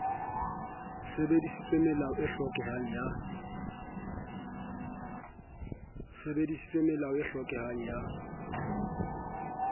sebedisitse melao e hlokehang ya